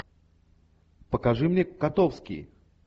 покажи мне котовский